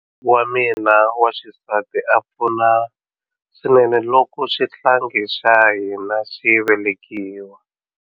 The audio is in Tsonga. Wa mina wa xisati a pfuna swinene loko xihlangi xa hina xi velekiwa.